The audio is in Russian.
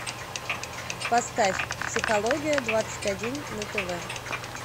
поставь психология двадцать один на тв